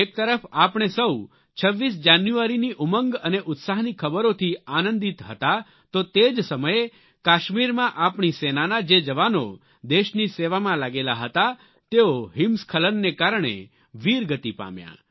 એક તરફ આપણે સૌ 26 જાન્યુઆરીની ઉમંગ અને ઉત્સાહની ખબરોથી આનંદિત હતા તો તે જ સમયે કાશ્મીરમાં આપણી સેનાના જે જવાનો દેશની સેવામાં લાગેલા હતા તેઓ હિમસ્ખલનને કારણે વીરગતી પામ્યા